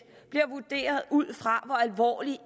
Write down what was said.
bliver vurderet ud fra hvor alvorlig